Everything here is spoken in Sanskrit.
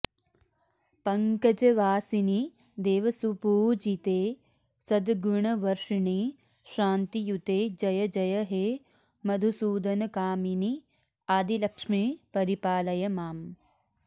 पङ्कजवासिनि देवसुपूजिते सद्गुणवर्षिणि शान्तियुते जय जय हे मधुसूदनकामिनि आदिलक्ष्मि परिपालय माम्